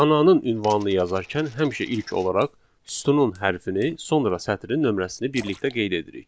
Xananın ünvanını yazarkən həmişə ilk olaraq sütunun hərfini, sonra sətrin nömrəsini birlikdə qeyd edirik.